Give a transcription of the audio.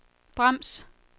brems